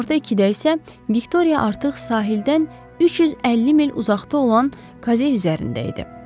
Günorta ikidə isə Viktoria artıq sahildən 350 mil uzaqda olan Kaze üzərində idi.